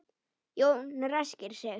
Jón ræskir sig.